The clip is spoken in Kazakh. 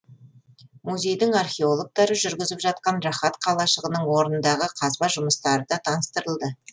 музейдің археологтары жүргізіп жатқан рахат қалашығының орындағы қазба жұмыстары да таныстырылды